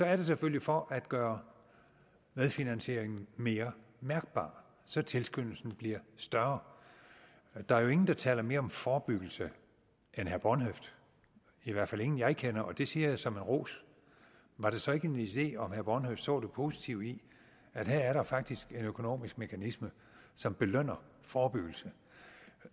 er det selvfølgelig for at gøre medfinansieringen mere mærkbar så tilskyndelsen bliver større der er jo ingen der taler mere om forebyggelse end herre bornhøft i hvert fald ingen jeg kender og det siger jeg som en ros var det så ikke en idé om herre bornhøft så det positive i at her er der faktisk en økonomisk mekanisme som belønner forebyggelse